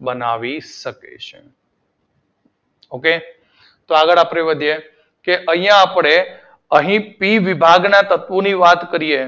બનાવી શકે છે. તો આગળ આપડે વધીએ અહિયાં આપડે અહી પી વિભાગના તત્વોની વાત કરીએ